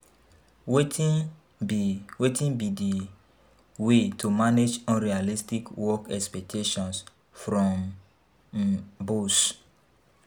Wetin be wetin be di way to manage unrealistic work expectations from um boss